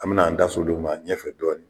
An bɛ na an da s'o de ma ɲɛfɛ dɔɔni.